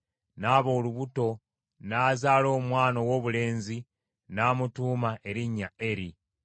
n’aba olubuto n’azaala omwana owoobulenzi n’amutuuma erinnya Eri.